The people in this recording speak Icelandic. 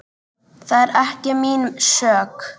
Það er ekki mín sök.